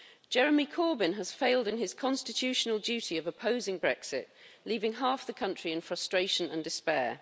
Jeremy Corbyn has failed in his constitutional duty of opposing Brexit, leaving half the country in frustration and despair.